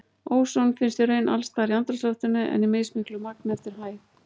Óson finnst í raun alls staðar í andrúmsloftinu en í mismiklu magni eftir hæð.